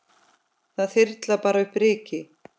Það þyrlar bara upp ryki.